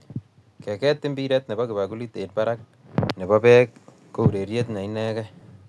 Keket mpiret ne bo kikapuit eng barakne bo beek ko urerie ne inegei.